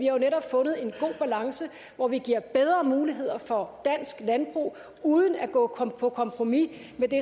jo netop fundet en god balance hvor vi giver bedre muligheder for dansk landbrug uden at gå på kompromis med det